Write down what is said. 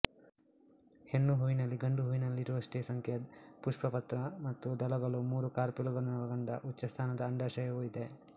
ಹೆಣ್ಣುಹೂವಿನಲ್ಲಿ ಗಂಡು ಹೂವಿನಲ್ಲಿರುವಷ್ಟೇ ಸಂಖ್ಯೆಯ ಪುಷ್ಪಪತ್ರ ಮತ್ತು ದಳಗಳೂ ಮೂರು ಕಾರ್ಪೆಲುಗಳನ್ನೊಳಗೊಂಡ ಉಚ್ಚಸ್ಥಾನದ ಅಂಡಾಶಯವೂ ಇವೆ